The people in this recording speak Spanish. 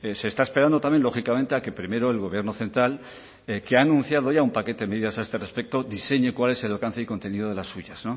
se está esperando también lógicamente a que primero el gobierno central que ha anunciado un paquete de medidas a este respecto diseñe cuál es el alcance y contenido de las suyas